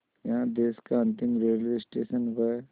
यहाँ देश का अंतिम रेलवे स्टेशन व